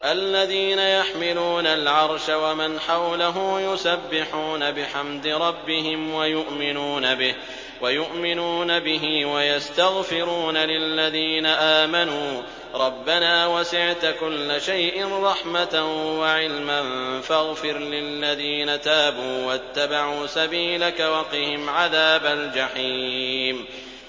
الَّذِينَ يَحْمِلُونَ الْعَرْشَ وَمَنْ حَوْلَهُ يُسَبِّحُونَ بِحَمْدِ رَبِّهِمْ وَيُؤْمِنُونَ بِهِ وَيَسْتَغْفِرُونَ لِلَّذِينَ آمَنُوا رَبَّنَا وَسِعْتَ كُلَّ شَيْءٍ رَّحْمَةً وَعِلْمًا فَاغْفِرْ لِلَّذِينَ تَابُوا وَاتَّبَعُوا سَبِيلَكَ وَقِهِمْ عَذَابَ الْجَحِيمِ